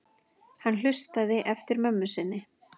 Hann hlustaði eftir mömmu sinni.